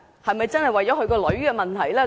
是否真的為了他女兒的問題？